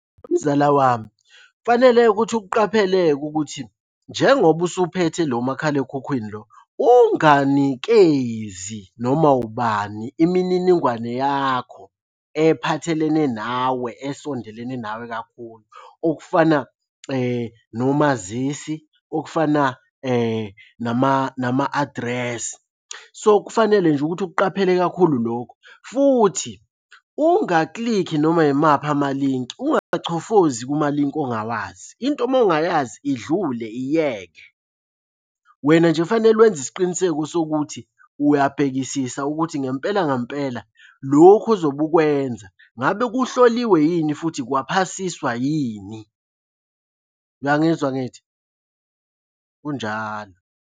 Wemzala wami, kufanele ukuthi ukuqaphele-ke ukuthi njengoba usuphethe lo makhalekhukhwini lo, unganikezi noma wubani imininingwane yakho ephathelene nawe esondelene nawe kakhulu. Okufana nomazisi, okufana nama-adresi. So, kufanele nje ukuthi ukuqaphele kakhulu lokho, futhi ungaklikhi noma yimaphi amalinki, ungachofozi kumalinki ongawazi. Into uma ungayazi idlule iyeke. Wena nje kufanele wenze isiqiniseko sokuthi uyabhekisisa ukuthi ngempela ngempela lokhu ozobe ukwenza ngabe kuhloliwe yini futhi kwaphasiswa yini? Uyangizwa angithi? Kunjalo.